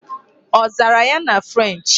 Ọ zara ya na French'?